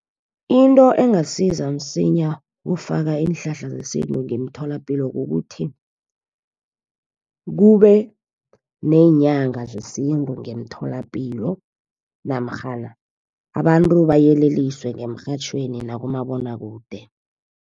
Into engasiza msinya ukufaka iinhlahla zesintu ngemtholapilo kukuthi, kube neenyanga zesintu ngemtholapilo. Namkghana abantu bayeleliswe ngemrhatjhweni nakumabonwakude.